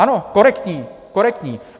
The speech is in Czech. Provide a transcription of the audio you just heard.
Ano, korektní, korektní!